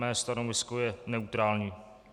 Mé stanovisko je neutrální.